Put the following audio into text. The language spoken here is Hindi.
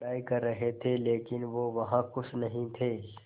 पढ़ाई कर रहे थे लेकिन वो वहां ख़ुश नहीं थे